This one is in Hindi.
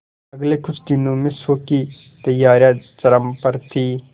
अगले कुछ दिनों में शो की तैयारियां चरम पर थी